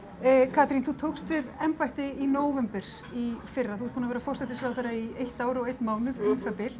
Katrín þú tókst við embætti í nóvember í fyrra þú ert búin að vera forsætisráðherra í eitt ár og einn mánuð um það bil